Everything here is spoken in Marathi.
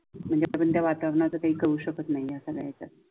म्हणजे पर्यंतत्येया वातावरणाच काही करू शकत नाही अस व्हायचं.